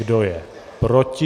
Kdo je proti?